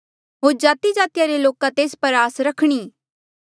होर जातिजातिया रे लोका तेस पर आस रखणी